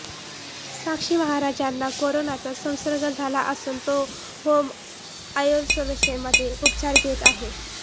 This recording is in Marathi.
साक्षी महाराज यांना कोरोनाचा संसर्ग झाला असून तो होम आयसोलेशनमध्ये उपचार घेत आहेत